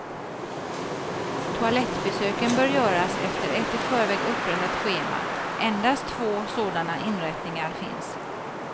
Toalettbesöken bör göras efter ett i förväg upprättat schema, endast två såna inrättningar finns.